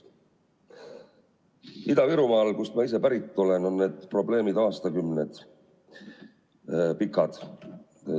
Ida-Virumaal, kust ma ise pärit olen, on need probleemid püsinud aastakümneid.